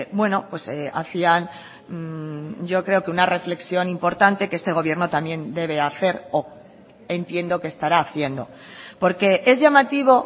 bueno hacían yo creo que una reflexión importante que este gobierno también debe hacer o entiendo que estará haciendo porque es llamativo